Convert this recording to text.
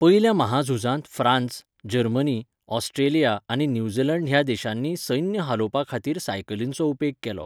पयल्या म्हाझुजांत France, Germany, Australia आनी न्यूझीलंड ह्या देशांनी सैन्य हालोवपा खातीर सायकलींचो उपेग केलो.